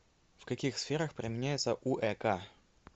в каких сферах применяется уэк